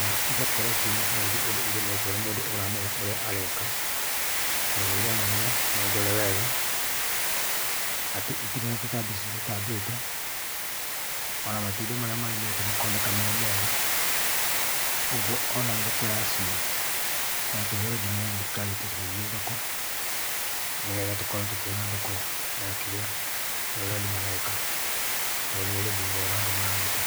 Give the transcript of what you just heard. na ĩgakorwo ciĩna health ũndũ cirĩmĩtwe nĩ mũndũ ũramenya ũrĩa areka ,tondũ nĩ ĩronania nĩ ndore wega atĩ itire na tũtambi tũcitambĩte, ona matunda marĩa marĩmĩte makonekana marĩ mega ũgũo ona thoko ya cio no tũhe ngĩnya thĩrĩkarĩ ĩtũcarĩrĩe thoko nĩgetha tũkorwo tũkĩona thoko ya ũrĩa andũ mareka, tonĩ ũrĩmi mwega andũ mararuta.